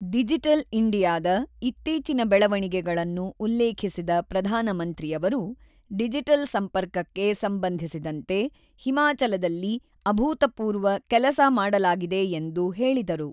Digital ಇಂಡಿಯಾದ ಇತ್ತೀಚಿನ ಬೆಳವಣಿಗೆಗಳನ್ನು ಉಲ್ಲೇಖಿಸಿದ ಪ್ರಧಾನಮಂತ್ರಿಯವರು, ಡಿಜಿಟಲ್ ಸಂಪರ್ಕಕ್ಕೆ ಸಂಬಂಧಿಸಿದಂತೆ ಹಿಮಾಚಲದಲ್ಲಿ ಅಭೂತಪೂರ್ವ ಕೆಲಸ ಮಾಡಲಾಗಿದೆ ಎಂದು ಹೇಳಿದರು.